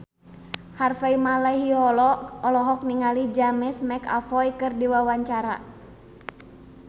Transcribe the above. Harvey Malaiholo olohok ningali James McAvoy keur diwawancara